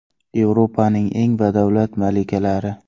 Yevropaning eng badavlat malikalari .